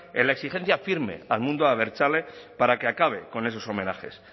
en la exigencia firme al mundo abertzale para que acabe con esos homenajes